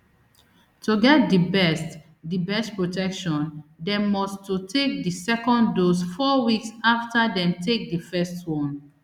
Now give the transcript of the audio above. to get di best di best protection dem must to take di second dose four weeks afta dem take di first one